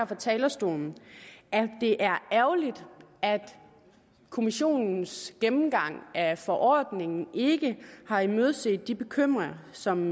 fra talerstolen at det er ærgerligt at kommissionens gennemgang af forordningen ikke har imødeset de bekymringer som